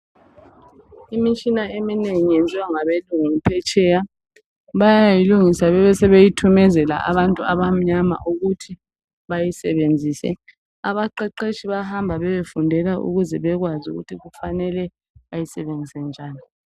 Imitshina eminengi yenziwa ngabelungu phetsheya bayayilungisa bebesebeyithumezela abantu abamnyama ukuthi bayisebenzise. Abaqeqetshi bayahamba bayefundela ukuze bekwazi ukuthi bafanele bayisebenzise njani.